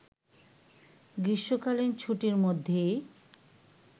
গ্রীষ্মকালীন ছুটির মধ্যেই